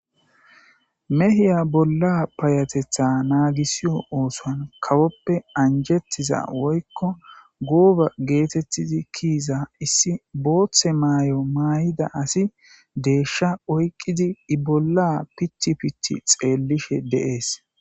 mehiya bolla payateththa nagiisiyo oosuwan kawoppe anjjettiza woykko gooba geetettidi kiiza issi booththe ma'o may'ida asi deeshsha oyqqidi i bolla pitti pitti xeellishshe de'ees